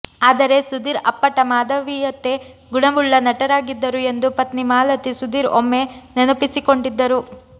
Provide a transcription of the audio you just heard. ಆದರೆ ಸುಧೀರ್ ಅಪ್ಪಟ ಮಾನವೀಯತೆ ಗುಣವುಳ್ಳ ನಟರಾಗಿದ್ದರು ಎಂದು ಪತ್ನಿ ಮಾಲತಿ ಸುಧೀರ್ ಒಮ್ಮೆ ನೆನಪಿಸಿಕೊಂಡಿದ್ದರು